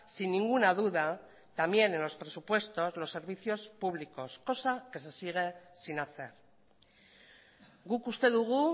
sin ninguna duda también en los presupuestos los servicios públicos cosa que se sigue sin hacer guk uste dugu